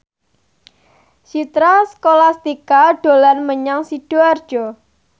Citra Scholastika dolan menyang Sidoarjo